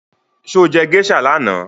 Sọ jẹ́ geisha lánàá?